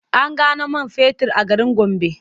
An gano man fetur a garin Gombe.